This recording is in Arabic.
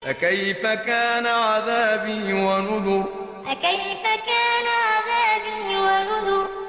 فَكَيْفَ كَانَ عَذَابِي وَنُذُرِ فَكَيْفَ كَانَ عَذَابِي وَنُذُرِ